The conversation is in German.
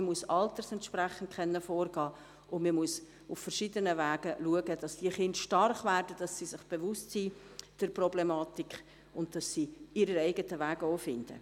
Man muss altersentsprechend vorgehen können, und man muss auf verschiedenen Wegen darauf achten, dass die Kinder stark werden, dass sie sich der Problematik bewusst sind und dass sie ihren eigenen Weg auch finden.